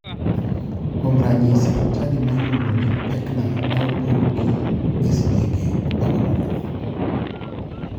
Kuom ranyisi, chadi ma iluongo ni pekna ne opogi e sidienge 18.